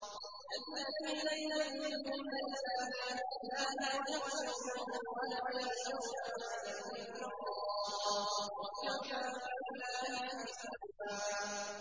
الَّذِينَ يُبَلِّغُونَ رِسَالَاتِ اللَّهِ وَيَخْشَوْنَهُ وَلَا يَخْشَوْنَ أَحَدًا إِلَّا اللَّهَ ۗ وَكَفَىٰ بِاللَّهِ حَسِيبًا